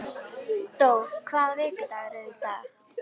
Dór, hvaða vikudagur er í dag?